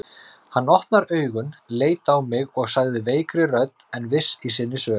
Hann opnaði augun, leit á mig og sagði veikri röddu en viss í sinni sök